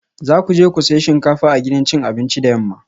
Za ku je ku sayi shinkafa a gidan cin abinci da yamma